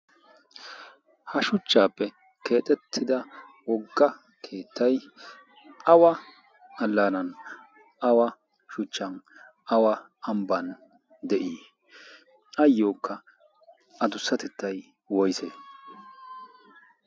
ha shuchchappe keettappe keexxetida wogga keettay awa allaanan, awa shuchchan awa ambban de'i? ayyokka addussatettay woysse?